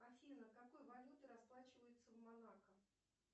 афина какой валютой расплачиваются в монако